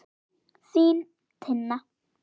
Þín, Tinna.